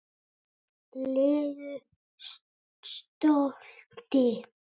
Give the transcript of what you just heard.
legu stolti.